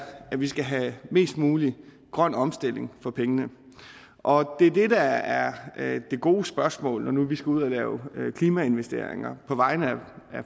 at vi skal have mest mulig grøn omstilling for pengene og det er det der er det gode spørgsmål når nu vi skal ud at lave klimainvesteringer på vegne af